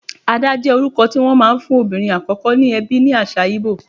Ada jẹ́ orúkọ tí wón máa ń fún obìnrin àkọ́kọ́ ní ẹbí ní àṣà Ìgbò.